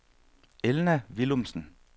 Elna Willumsen